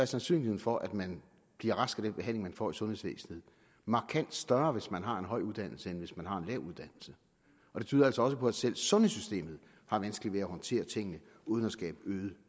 sandsynligheden for at man bliver rask af den behandling man får i sundhedsvæsenet markant større hvis man har en høj uddannelse end hvis man har en lav uddannelse det tyder altså også på at selv sundhedssystemet har vanskeligt ved at håndtere tingene uden at skabe øget